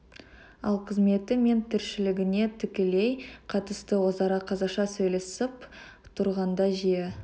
ал қызметі мен тіршілігіне тікелей қатысты өзара қазақша сөйлесіп тұрғанда жиі